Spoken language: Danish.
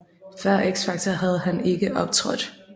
Før X Factor havde han ikke optrådt